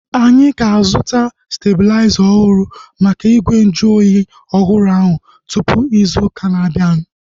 Anyị ga-azuta stebulaiza ọhụrụ maka igwe nju oyi ọhụrụ ahu tupu ịzụ ụka na-abianu